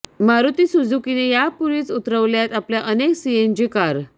मारुती सुझुकीने यापूर्वीच उतरवल्यात आपल्या अनेक सीएनजी कार